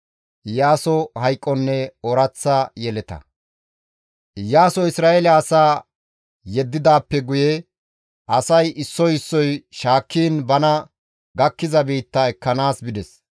Iyaasoy Isra7eele asaa yeddidaappe guye asay issoy issoy shaakkiin bana gakkiza biitta ekkanaas bides.